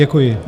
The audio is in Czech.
Děkuji.